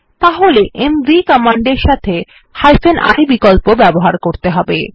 তাহলে এমভি কমান্ডের সাথে i বিকল্প ব্যবহার করতে হবে